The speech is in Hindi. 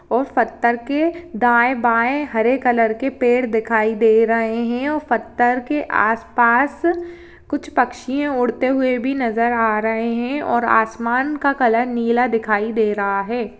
और पत्थर के दाएं बाएं हरे कलर के पेड़ दिखाई दे रहे हैं और पत्थर के आसपास कुछ पक्षी उड़ते हुए भी नजर आ रहे हैं और आसमान का कलर नीला दिखाई दे रहा हैं।